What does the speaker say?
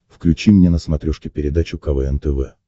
включи мне на смотрешке передачу квн тв